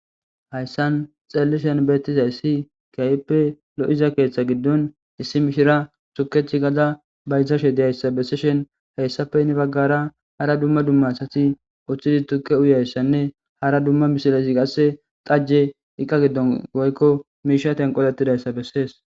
Hayssan xellishen beettizay si kayppe lo7iza keeththa giddon issi mishira tukech gada baytashe diyayssa besseshen heyssafe ni baggara hara dumma dumma asati uththidi tukke uyayssanne hara dumma mishilesi qasse dajje iqqa giddon goykko miisha tenqolettidayssa bessees.